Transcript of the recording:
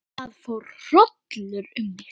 Það fór hrollur um mig.